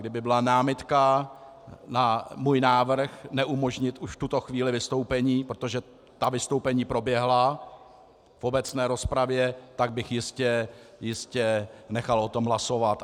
Kdyby byla námitka na můj návrh neumožnit už v tuto chvíli vystoupení, protože ta vystoupení proběhla v obecné rozpravě, tak bych jistě nechal o tom hlasovat.